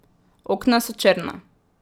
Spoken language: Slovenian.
Okna so črna.